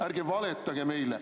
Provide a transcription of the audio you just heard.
Ärge valetage meile.